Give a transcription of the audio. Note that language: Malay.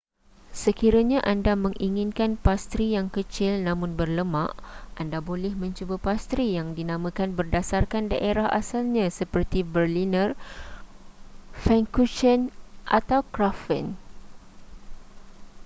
sekiranya anda menginginkan pastri yang kecil namun berlemak anda boleh mencuba pastri yang dinamakan berdasarkan daerah asalnya seperti berliner pfannkuchen atau krapfen